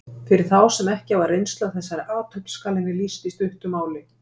Fyrir þá sem ekki hafa reynslu af þessari athöfn skal henni lýst í stuttu máli.